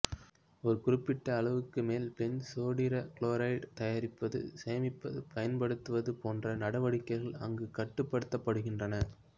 ஒரு குறிப்பிட்ட அளவுக்கு மேல் பென்சோடிரைகுளோரைடு தயாரிப்பது சேமிப்பது பயன்படுத்துவது போன்ற நடவடிக்கைகள் அங்கு கட்டுப்படுத்தப்படுகின்றன